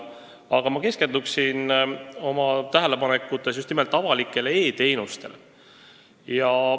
Aga ma keskenduksin oma tähelepanekutes just nimelt avalikele e-teenustele.